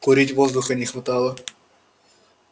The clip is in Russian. курить воздуха не хватало